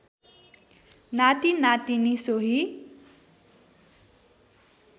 नाति नातिनी सोही